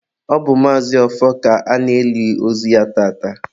ọ bụ Maazi Ọfọ ka a na-eli ozu ya tata